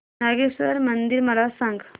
नागेश्वर मंदिर मला सांग